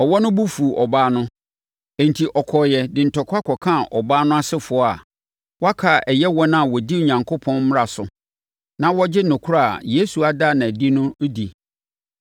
Ɔwɔ no bo fuu ɔbaa no, enti ɔkɔeɛ de ntɔkwa kɔkaa ɔbaa no asefoɔ a wɔaka a ɛyɛ wɔn a wɔdi Onyankopɔn mmara so na wɔgye nokorɛ a Yesu ada no adi no di.